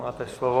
Máte slovo.